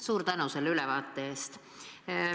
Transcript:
Suur tänu selle ülevaate eest!